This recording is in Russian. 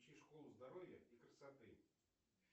включи школу здоровья и красоты